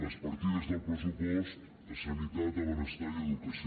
les partides del pressupost a sanitat a benestar i a educació